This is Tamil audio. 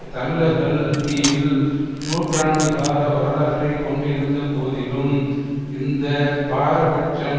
தமிழர்கள் தீவில் நூற்றாண்டு கால வரலாற்றை கொண்டிருந்த போதிலும் இந்த பாரபட்சம்